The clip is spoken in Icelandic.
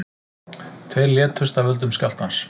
Tveir létust af völdum skjálftans